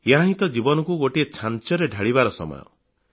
ଏହାହିଁ ତ ଜୀବନକୁ ଗୋଟିଏ ଛାଞ୍ଚରେ ଢାଳିବାର ସମୟ